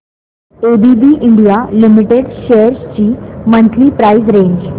ABB India limited shares ची monthly price range